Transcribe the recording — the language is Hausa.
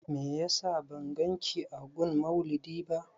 Meyasa ban ganki a gun maulidi ba?